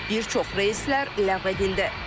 Bir çox reyslər ləğv edildi.